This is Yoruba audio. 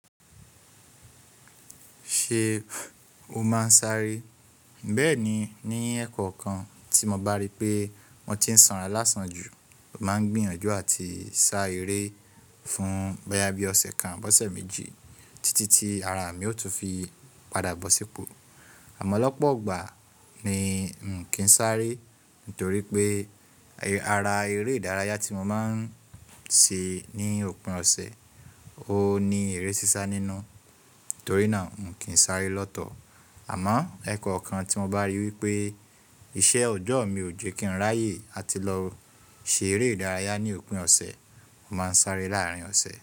Ṣé o máa ń sáré? Bẹ́ẹ̀ni, ní ẹ̀kọ́ kan tí mo bá rí pé wọ́n ti ń sanra lásán jù, mo máa ń gbìyànjú àti sá eré fún bóyá bí ọ̀sẹ̀ kan, bóṣè méjì títí tí ara mi ó tún fi padà bọ́ sípò. Àmọ́ lọ́pọ̀ ọgbà ni n kì ń sáré torí pé ara eré ìdárayá tí mo máa ń ṣe ní òpin ọ̀sẹ̀ ó ní èrè ṣíṣá nínú, torí náà n kì ń sáré lọ́tọ̀. Àmọ́ ẹ́kọ́ kan tí mo bá rí wí pé iṣẹ́ ọjọ́ mi ò jẹ́ kí n ráyè àti lọ ṣe eré ìdárayá ní òpin ọ̀sẹ̀, mo máa ń sáré láàárín ọ̀sẹ̀.